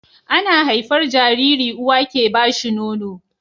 Ana haifar Jariri uwa ke bashi Nono